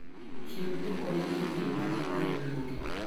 Chiw duoko ne imel mane oyud mogik.